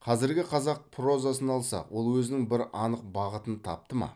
қазіргі қазақ прозасын алсақ ол өзінің бір анық бағытын тапты ма